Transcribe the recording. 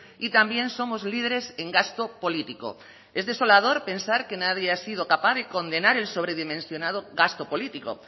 y también somos líderes en gasto político es desolador pensar que nadie ha sido capaz de condenar el sobredimensionado gasto político